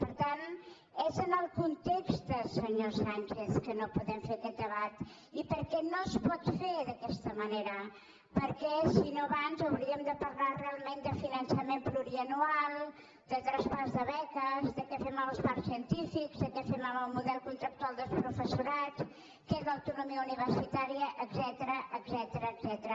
per tant és en el context senyor sánchez que no podem fer aquest debat i perquè no es pot fer d’aquesta manera perquè si no abans hauríem de parlar realment de finançament plurianual de traspàs de beques de què fem amb els parcs científics de què fem amb el model contractual del professorat què és l’autonomia universitària etcètera